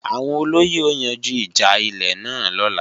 Àwọn olóyè ó yanjú ìjà ilé náà lọ́la